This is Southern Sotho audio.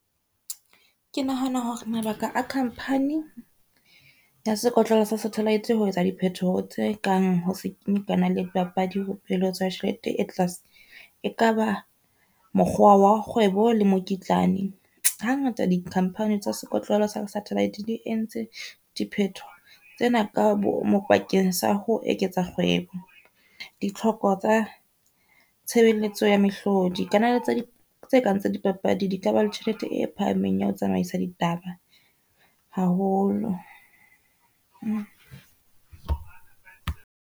Ke nahana hore mabaka a company ya sekotlolo sa satellite ho etsa diphetoho tse kang ho se kenye dipapadi ho tsa tjhelete e tlase, e kaba mokgwa wa kgwebo le mokitlane. Ha ngata di-company tsa sekotlolo sa satellite di entse di phetho tsena ka bomo bakeng sa ho eketsa kgwebo. Ditlhoko tsa tshebeletso ya mehlodi, kalane tsa tse kang tsa dipapadi di ka ba le tjhelete e phahameng ya ho tsamaisa ditaba haholo.